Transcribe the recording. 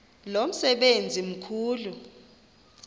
lo msebenzi mkhulu